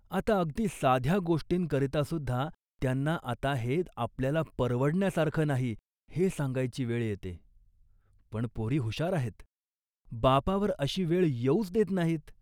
आता अगदी साध्या गोष्टींकरितासुद्धा त्यांना आता हे आपल्याला परवडण्यासारखं नाही हे सांगायची वेळ येते, पण पोरी हुशार आहेत. बापावर अशी वेळ येऊच देत नाहीत